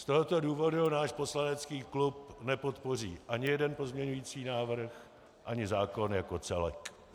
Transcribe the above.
Z tohoto důvodu náš poslanecký klub nepodpoří ani jeden pozměňující návrh, ani zákon jako celek.